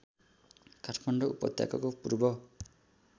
काठमाडौँ उपत्यकाको पूर्व